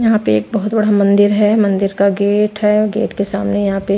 यहां पे एक बहुत बड़ा मंदिर है मंदिर का गेट है गेट के सामने यहां पे।